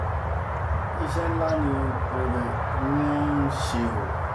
iṣẹ́ ńlá ni wọ́n ń ṣe o